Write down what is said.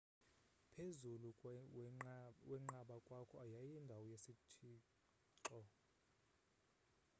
phezulu wenqaba kwakho yayindawo yesithixoe